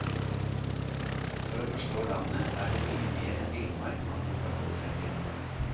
For å forstå landet er det mye mer enn villmark man må forholde seg til.